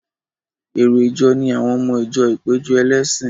Èrò ìjọ ni àwọn ọmọ ìjọ ìpéjọ ẹlẹ́sìn.